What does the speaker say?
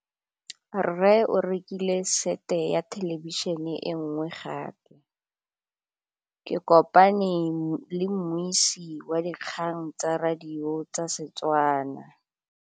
Rre o rekile sete ya thêlêbišênê e nngwe gape. Ke kopane mmuisi w dikgang tsa radio tsa Setswana.